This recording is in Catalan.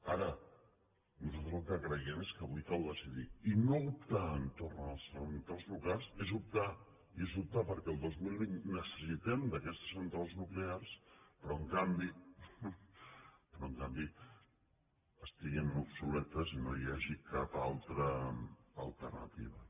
ara nosaltres el que creiem és que avui cal decidir i no optar entorn a les centrals nuclears és optar i és optar perquè el dos mil vint necessitem d’aquestes centrals nuclears però en canvi estiguin obsoletes i no hi hagi cap altra alternativa